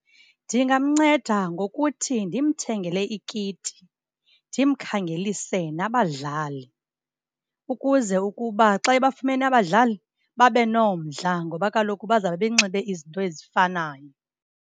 Ndingamnceda ngokuthi ndimthengele ikiti, ndimkhangelise nabadlali ukuze ukuba xa ebafumene abadlali, babe nomdla ngoba kaloku bazabe benxibe izinto ezifanayo.